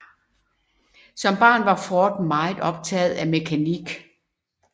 Som barn var Ford meget optaget af mekanik